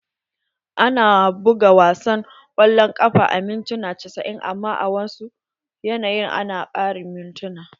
Ana buga wasa na kwallon kafa a mintuna casa'in amman a wasu yanayi a na ƙarin mintuna.